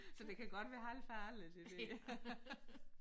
Så det kan godt være halvfarligt det der